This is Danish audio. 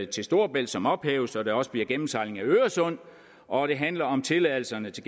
til storebælt som ophæves så der også bliver gennemsejling af øresund og det handler om tilladelserne til